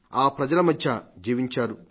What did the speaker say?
ఈ ప్రజల మధ్య జీవించారు